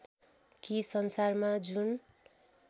कि संसारमा जुन